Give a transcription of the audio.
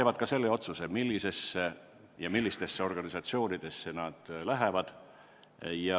Valgevenelased ise otsustavad, millistesse organisatsioonidesse nad lähevad.